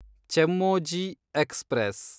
Chemmozhi express